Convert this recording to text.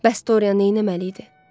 Bəs Dorian neyləməli idi?